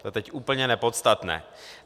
To je teď úplně nepodstatné.